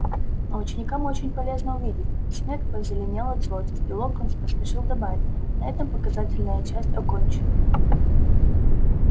но ученикам очень полезно увидеть снегг позеленел от злости и локонс поспешил добавить на этом показательная часть окончена